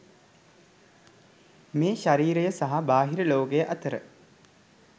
මේ ශරීරය සහ බාහිර ලෝකය අතර